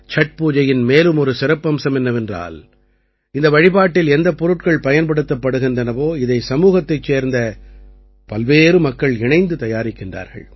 சட் பூஜையின் மேலும் ஒரு சிறப்பம்சம் என்னவென்றால் இந்த வழிபாட்டில் எந்தப் பொருட்கள் பயன்படுத்தப் படுகின்றனவோ இதை சமூகத்தைச் சேர்ந்த பல்வேறு மக்கள் இணைந்து தயாரிக்கின்றார்கள்